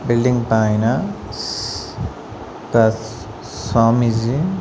Building పైన స్ తస్ స్వామీజీ.